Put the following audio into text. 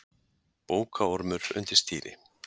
Bókaormur undir stýri